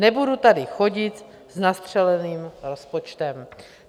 Nebudu tady chodit s nastřeleným rozpočtem."